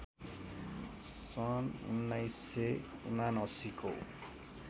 सन् १९७९ को